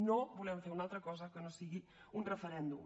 no volem fer una altra cosa que no sigui un referèndum